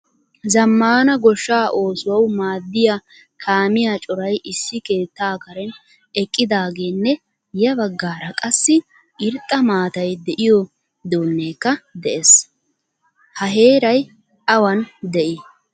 Zammaana goshshaa oosuwawu maadiyaa kaamiya coray issi keettaa karen eqqidagenne ya baggaara qassi irxxa maatay de'iyo duunekka de'ees. Ha heeray awan de'i?